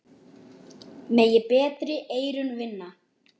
Megi betri eyrun vinna.